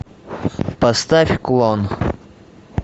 поставь клон